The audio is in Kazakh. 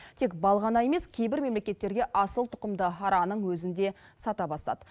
тек бал ғана емес кейбір мемлекеттерге асылтұқымды араның өзін де сата бастады